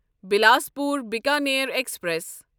Bilaspur Bikaner express